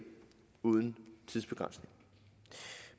uden tidsbegrænsning